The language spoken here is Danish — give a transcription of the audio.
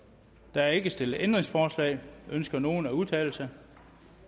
der er ikke stillet ændringsforslag ønsker nogen at udtale sig da